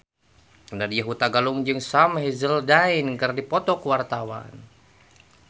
Nadya Hutagalung jeung Sam Hazeldine keur dipoto ku wartawan